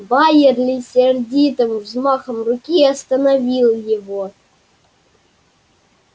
байерли сердитым взмахом руки остановил его